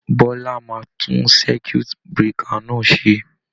Bọ́lá máa tún circuit breaker náà ṣe.